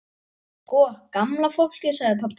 Sko gamla fólkið sagði pabbi.